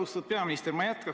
Austatud peaminister!